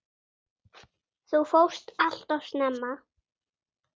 Þú fórst allt of snemma.